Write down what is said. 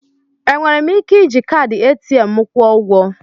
Enwere m ike iji kaadị ATM m kwụọ ụgwọ?